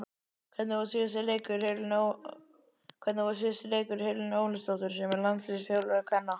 Hvernig fór síðasti leikur Helenu Ólafsdóttur sem landsliðsþjálfari kvenna?